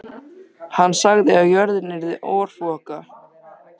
Hann sagði að jörðin yrði örfoka.